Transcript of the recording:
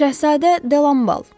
Şəhzadə Delam Bal.